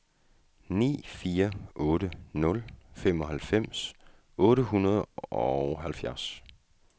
ni fire otte nul femoghalvfems otte hundrede og otteoghalvfjerds